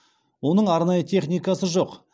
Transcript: оның арнайы техникасы жоқ